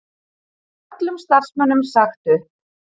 Öllum starfsmönnum sagt upp